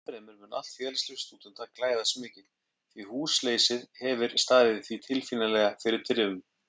Ennfremur mun allt félagslíf stúdenta glæðast mikið, því húsleysið hefir staðið því tilfinnanlega fyrir þrifum.